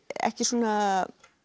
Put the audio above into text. ekki svona